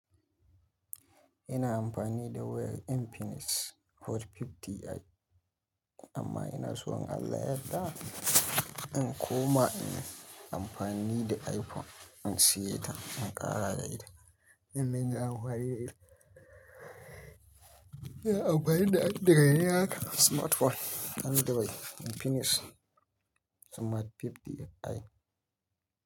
Ina amfani da wayar Infinix Hot 50i amma ina so in Allah yadda Zan koma in yi amfani da iPhone, in siya ta, in ƙara da ita, in mayar wa wari da ita. Abba ya yi da addar gani haka Smart phone Android Infinix Smart 50i.